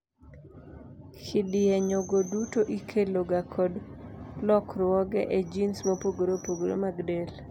kidienjego duto ikelo ga kod lokruoge ejins mopogore opogore mag del